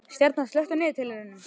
Stjarna, slökktu á niðurteljaranum.